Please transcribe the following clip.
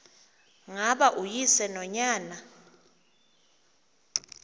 ngaba uyise nonyana